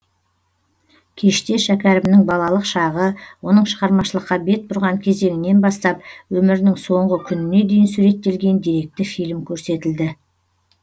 кеште шәкәрімнің балалық шағы оның шығармашылыққа бет бұрған кезеңінен бастап өмірінің соңғы күніне дейін суреттелген деректі фильм көрсетілді